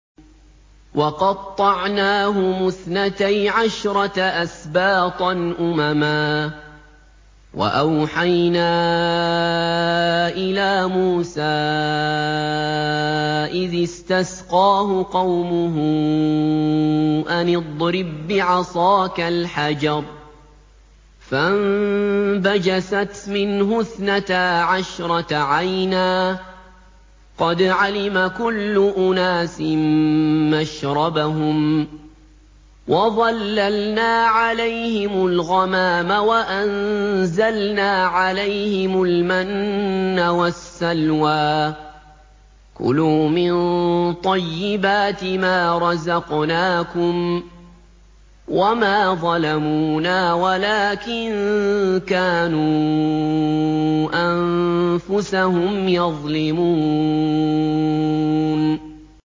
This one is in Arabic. وَقَطَّعْنَاهُمُ اثْنَتَيْ عَشْرَةَ أَسْبَاطًا أُمَمًا ۚ وَأَوْحَيْنَا إِلَىٰ مُوسَىٰ إِذِ اسْتَسْقَاهُ قَوْمُهُ أَنِ اضْرِب بِّعَصَاكَ الْحَجَرَ ۖ فَانبَجَسَتْ مِنْهُ اثْنَتَا عَشْرَةَ عَيْنًا ۖ قَدْ عَلِمَ كُلُّ أُنَاسٍ مَّشْرَبَهُمْ ۚ وَظَلَّلْنَا عَلَيْهِمُ الْغَمَامَ وَأَنزَلْنَا عَلَيْهِمُ الْمَنَّ وَالسَّلْوَىٰ ۖ كُلُوا مِن طَيِّبَاتِ مَا رَزَقْنَاكُمْ ۚ وَمَا ظَلَمُونَا وَلَٰكِن كَانُوا أَنفُسَهُمْ يَظْلِمُونَ